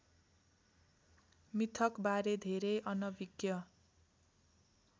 मिथकबारे धेरै अनभिज्ञ